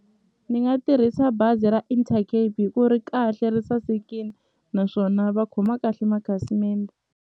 Ni nga tirhisa bazi ra Intercape hi ku ri kahle ri sasekini naswona va khoma kahle makhasimende.